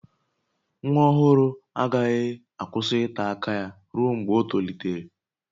Nwa ọhụrụ agaghị akwụsị ịta aka ya ruo mgbe o tolitere